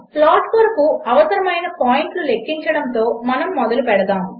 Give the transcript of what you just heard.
plot కొరకు అవసరము అయిన పాయింట్లు లెక్కించడముతో మనము మొదలుపెడదాము